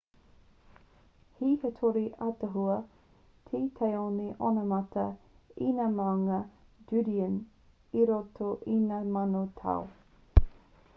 he hitori ataahua te taone onamata i ngā māunga judean i roto i ngā mano tau